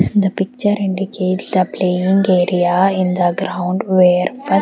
and the picture indicates the playing area in the ground where first--